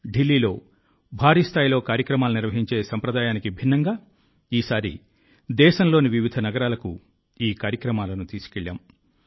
ఢిల్లీలో భారీ స్థాయిలో కార్యక్రమాలను నిర్వహించే సంప్రదాయానికి భిన్నంగా ఈసారి దేశంలోని వివిధ నగరాలకు ఈ కార్యక్రమాలను తీసుకెళ్లాం